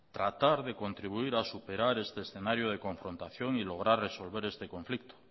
tratar de contribuir a superar este escenario de confrontación y lograr resolver este conflicto